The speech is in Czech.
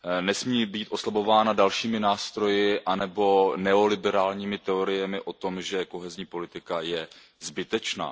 Nesmí být oslabována dalšími nástroji anebo neoliberálními teoriemi o tom, že kohezní politika je zbytečná.